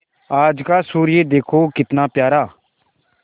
आज का सूर्य देखो कितना प्यारा